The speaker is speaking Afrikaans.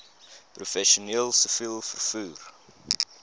professioneel siviel vervoer